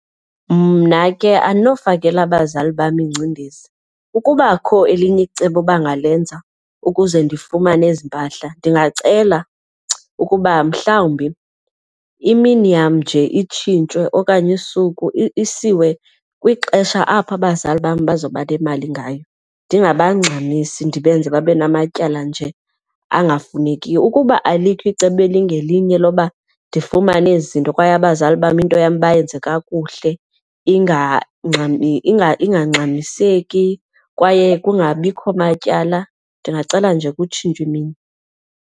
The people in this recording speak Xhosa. Mna ke andinofakela abazali bam ingcindezi. Ukuba akho elinye icebo bangalenza ukuze ndifumane ezi mpahla ndingacela ukuba mhlawumbi imini yam nje itshintshwe okanye usuku isiwe kwixesha apho abazali bam bazoba nemali ngayo, ndingabangxamisi ndibenze babe namatyala nje angafunekiyo. Ukuba alikho icebo elingelinye loba ndifumane ezi zinto kwaye abazali bam into yam bayenze kakuhle ingxamiseki kwaye kungabikho matyala, ndingacela nje kutshintshwe imini.